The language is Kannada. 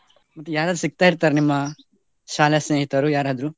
ಮತ್ತೆ ಯಾರಾದ್ರೂ ಸಿಕ್ತಾ ಇರ್ತಾರಾ ಶಾಲಾ ಸ್ನೇಹಿತರು ಯಾರಾದ್ರೂ?